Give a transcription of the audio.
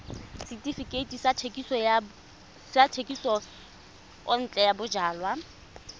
setefikeiti sa thekisontle ya bojalwa